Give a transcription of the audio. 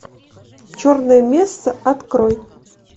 черная месса открой